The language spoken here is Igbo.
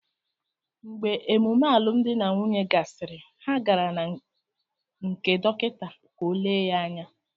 Mgbe emume alụmdi na nwunye gasịrị, ha gara na nkè dọkịta ka o lee ya anya